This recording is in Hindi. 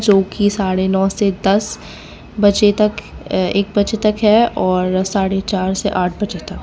जो की साढ़े नौ से दस बजे तक एक बजे तक और साढ़े चार से आठ बजे तक --